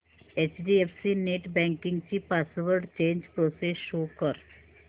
HDFC net banking ची password change process show कर